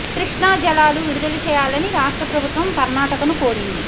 కృష్ణా జలాలు విడుదల చేయాలని రాష్ట్ర ప్రభుత్వం కర్నాటకను కోరింది